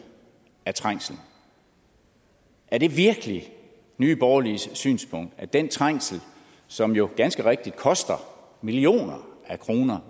af trængsel er det virkelig nye borgerliges synspunkt at den trængsel som jo ganske rigtigt koster millioner af kroner